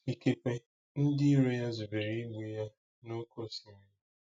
Ikekwe ndị iro ya zubere igbu ya n’oké osimiri.